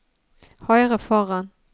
høyre foran